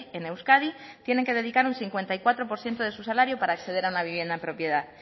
en euskadi tienen que dedicar un cincuenta y cuatro por ciento de su salario para acceder a una vivienda en propiedad